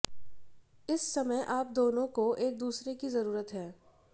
इस समय आप दोनों को एक दूसरे की जरूरत है